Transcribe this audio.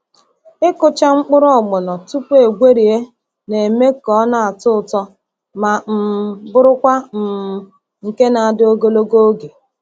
Ịkụcha mkpụrụ ogbono tupu egwerie na-eme ka ọ na-atọ ụtọ ma um bụrụkwa um nke na-adị ogologo oge.